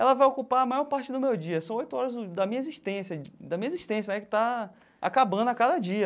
Ela vai ocupar a maior parte do meu dia, são oito horas da minha existência, da minha existência né que está acabando a cada dia.